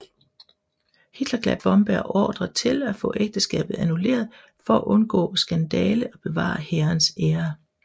Hitler gav Blomberg ordre til at få ægteskabet annulleret for at undgå skandale og bevare hærens ære